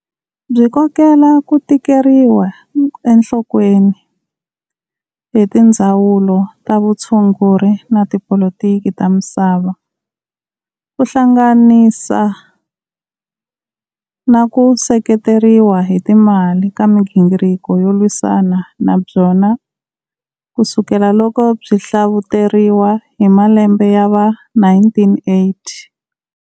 Byi kokele kutekeriwa enhlokweni hi tindzawulo ta vutshunguri na Tipoliki ta misava, kuhlanganisa na ku seketeriwa hi timali ka migingiriko yo lwisana na byona kusukela loko byi hlavuteriwa hi malembe ya va 1980.